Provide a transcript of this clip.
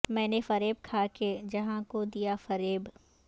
میں نے فریب کھا کے جہاں کو دیا فریب